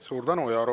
Suur tänu!